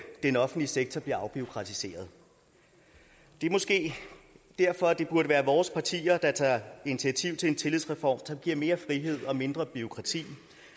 den offentlige sektor bliver afbureaukratiseret det er måske derfor at det burde være vores partier der tager initiativ til en tillidsreform som giver mere frihed og mindre bureaukrati